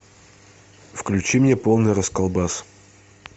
включи мне полный расколбас